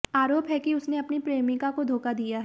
आरोप है कि उसने अपनी प्रेमिका को धोखा दिया है